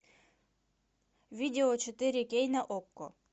видео четыре кей на окко